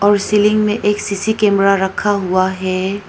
और सीलिंग में एक सी_सी कैमरा रखा हुआ है।